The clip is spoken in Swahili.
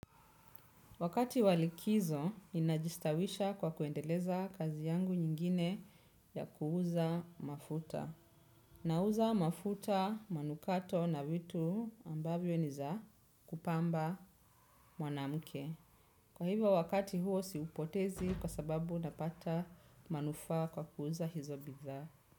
Wakati wa likizo, ninajistawisha kwa kuendeleza kazi yangu nyingine ya kuuza mafuta. Nauza mafuta manukato na vitu ambavyo niza kupamba mwanamuke. Kwa hivyo wakati huo siupotezi kwa sababu napata manufaa kwa kuuza hizo bidhaa.